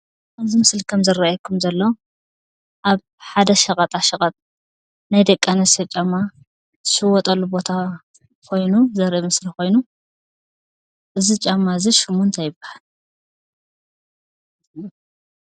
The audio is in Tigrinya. እዚ ምስሊ ከም ዝረአየኩም ዘሎ አብ ሓደ ሸቀጣ ሸቀጥ ናይ ደቂ አንስትዮ ጫማ ዝሽየጥሉ ቦታ ዘርኢ ምስሊ ኮይኑ እዚ ጫማ ሽሙ እንታይ ይባሃል ?